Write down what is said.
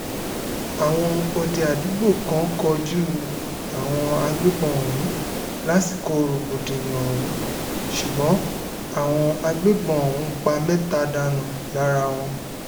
àwọn òde àdúgbò kan kojú àwọn agbébọn ọ̀hún lásìkò rògbòdìyàn ọ̀hún ṣùgbọ́n àwọn agbébọn ọ̀hún pa mẹ́ta dànù lára wọn